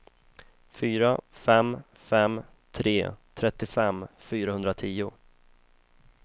fyra fem fem tre trettiofem fyrahundratio